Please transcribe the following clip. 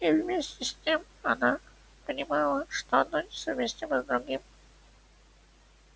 и вместе с тем она понимала что одно несовместимо с другим